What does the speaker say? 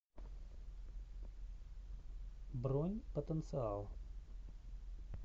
бронь потенциал